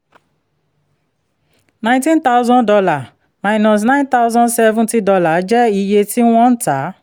nineteen thousand dollar minus nine tousand seventy dollar jẹ́ iye tí wọ́n ń tà a